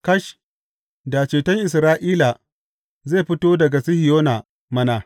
Kash, da ceton Isra’ila zai fito daga Sihiyona mana!